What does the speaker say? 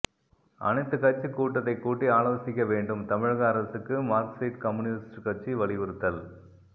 அனைத்து கட்சி கூட்டத்தை கூட்டி ஆலோசிக்க வேண்டும் தமிழக அரசுக்கு மார்க்சிஸ்ட் கம்யூனிஸ்டு கட்சி வலியுறுத்தல்